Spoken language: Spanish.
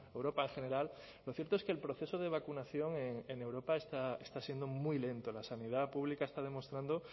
europa en general lo cierto es que el proceso de vacunación en europa está siendo muy lento la sanidad pública está demostrando